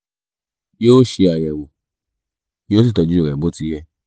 yoo ṣe ayẹwo yó sì tọju rẹ bó ti yẹ